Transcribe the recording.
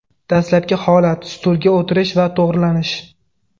Dastlabki holat: stulga o‘tirish va to‘g‘rilanish.